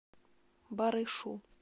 барышу